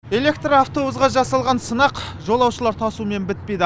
электро автобусқа жасалған сынақ жолаушылар тасумен бітпейді